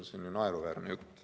See on ju naeruväärne jutt.